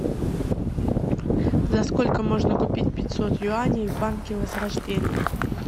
за сколько можно купить пятьсот юаней в банке возрождения